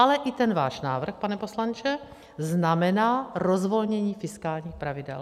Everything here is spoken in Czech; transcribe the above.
Ale i ten váš návrh, pane poslanče, znamená rozvolnění fiskálních pravidel.